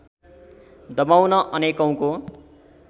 दबाउन अनेकौँको